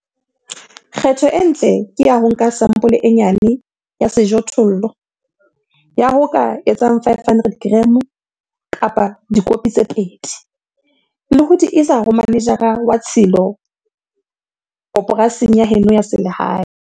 Kgetho e ntle ke ya ho nka sampole e nyane ya sejothollo, ya ho ka etsang 500 g kapa dikopi tse 2, le ho di isa ho manejara wa tshilo koporasing ya heno ya selehae.